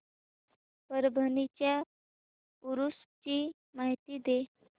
परभणी च्या उरूस ची माहिती दे